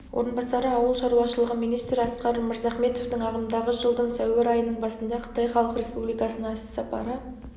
орынбасары ауыл шаруашылығы министрі асқар мырзахметовтің ағымдағы жылдың сәуір айының басында қытай халық республикасына іссапары